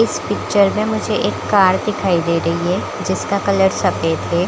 इस पिक्चर में मुझे एक कार दिखाई दे रही है जिसका कलर सफ़ेद है।